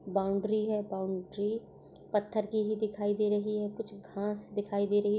Boundary है। Boundary पत्थर की ही दिखाई दे रही है कुछ घास दिखाई दे रही है।